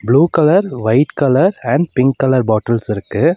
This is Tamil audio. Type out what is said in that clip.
Blue colour white colour and pink colour bottles இருக்கு.